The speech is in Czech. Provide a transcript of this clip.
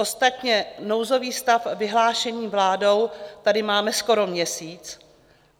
Ostatně nouzový stav vyhlášený vládou tady máme skoro měsíc.